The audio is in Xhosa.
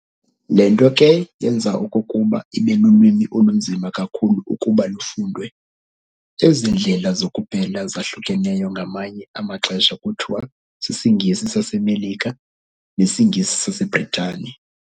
Le nto ke yenza okokuba ibe lulwimi olunzima kakhulu ukuba lufundwe. Ezi ndlela zokupela zahlukeneyo ngamanye amaxesha kuthiwa s"isiNgesi saseMelika" ne "siNgesi saseBritane".